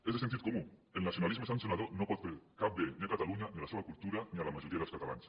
és de sentit comú el nacionalisme sancionador no pot fer cap bé ni a catalunya ni a la seva cultura ni a la majoria dels catalans